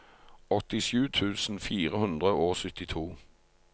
åttisju tusen fire hundre og syttito